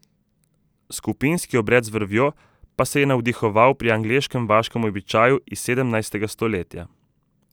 Skupinski obred z vrvjo pa se je navdihoval pri angleškem vaškem običaju iz sedemnajstega stoletja.